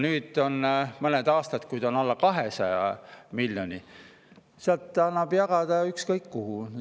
Nüüd on olnud mõned aastad, kui seal on alla 200 miljoni ja sealt annab jagada ükskõik kuhu.